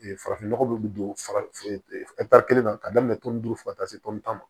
farafin nɔgɔ min bɛ don kelen na ka daminɛ tɔn fo ka taa se tan ma